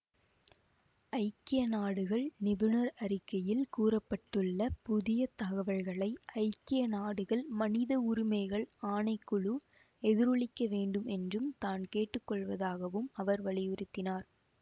ஐக்கிய நாடுகள் நிபுணர் அறிக்கையில் கூற பட்டுள்ள புதிய தகவல்களை ஐக்கிய நாடுகள் மனித உரிமைகள் ஆணை குழு எதிரொலிக்க வேண்டும் என்றும் தான் கேட்டுக்கொள்வதாகவும் அவர் வலியுறுத்தினார்